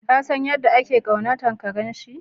Ka San yadda ya kaunace karen shi?